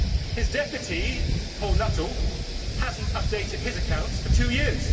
His Deputy, Paul Nuttall, has not updated his accounts for two years.